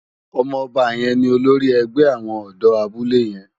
Òmò òbá yèn ni ólórì ègbè áwòn òdò àbúlé yèn